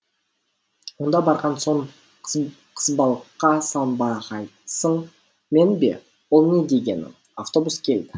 онда барған соң қызбалыққа салынбағайсың мен бе ол не дегенің автобус келді